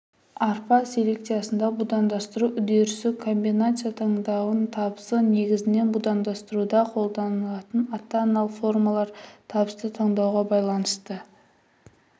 арпа селекциясында будандастыру үдерісі комбинация таңдауының табысы негізінен будандастыруда қолданылатын ата-аналық формаларын табысты таңдауға байланысты